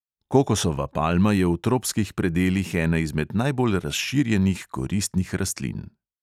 Kokosova palma je v tropskih predelih ena izmed najbolj razširjenih koristnih rastlin.